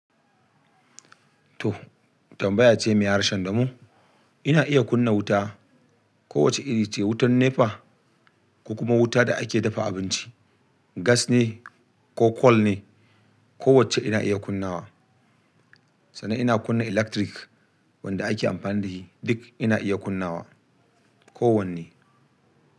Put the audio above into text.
To tambaya ce mai harshen damo. Ina iya kunna wuta. Kowacce iri ce, wutan NEPA ko kuma wuta da ake dafa abinci, gas ne ko coal ne. Kowacce ina iya kunnawa. Sannan ina kunna electric wanda ake amfani da shi duk ina iya kunnawa. Ko wanne.